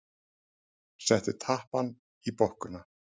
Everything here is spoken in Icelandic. Settu tappann í bokkuna.